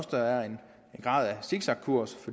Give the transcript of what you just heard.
der er en grad af zigzagkurs